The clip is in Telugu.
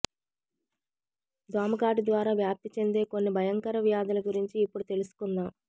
దోమకాటు ద్వారా వ్యాప్తి చెందే కొన్ని భయంకర వ్యాధుల గురించి ఇప్పుడు తెలుసుకుందాం